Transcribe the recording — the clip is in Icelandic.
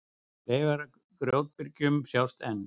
Leifar af grjótbyrgjum sjást enn.